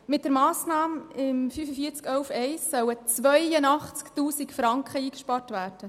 Mit der Massnahme 45.11.1 sollen 82 000 Franken eingespart werden.